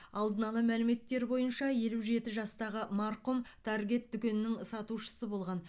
алдын ала мәліметтер бойынша елу жеті жастағы марқұм таргет дүкенінің сатушысы болған